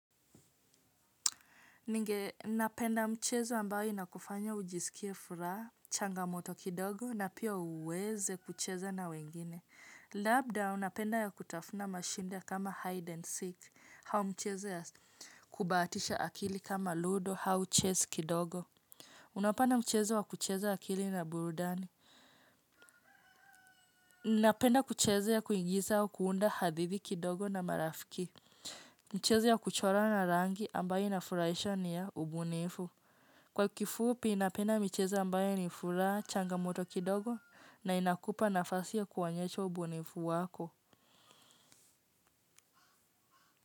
Ninge napenda mchezo ambayo inakufanya ujisikie furaha, changamoto kidogo na pia uweze kucheza na wengine. Labda unapenda ya kutafuna mashida kama hide and seek. Au mchezo ya kubatisha akili kama ludo au chess kidogo. Unapenda mchezo wa kucheza akili na burudani. Napenda kuchezea kuigiza au kuunda hadhithi kidogo na marafiki. Mchezo ya kuchora na rangi ambayo inafurahisha ni ya ubunifu. Kwa kifupi napenda michezo ambayo ni furaha changamoto kidogo na inakupa nafasi ya kuwaonyesha ubunifu wako.